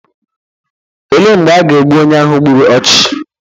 olee mgbe a ga-egbu onye ahụ gburu ọchụ?